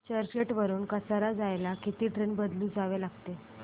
चर्चगेट वरून कसारा जायला किती ट्रेन बदलून जावे लागेल